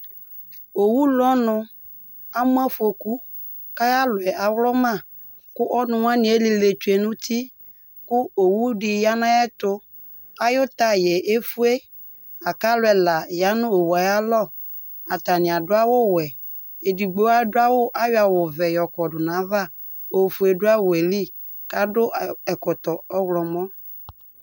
Owʋ lʋɔnʋ amʋ afokʋ, kʋ ayʋ alɔ yɛ awlʋma, kʋ ɔnʋ wanɩ elile tsʋe nʋ uti, kʋ owʋ dɩ ya nʋ ayʋ ɛtʋ Ayʋ taya yɛ efue, lakʋ alʋ ɛla ya nʋ owʋ yɛ ayʋ alɔ Atanɩ adʋ awʋwɛ Edigbo ayɔ awʋ ɔvɛ yɔ kɔdʋ nʋ ayava Ofue dʋ awʋ ye li, kʋ adʋ ɛkɔtɔ ɔɣlɔmɔ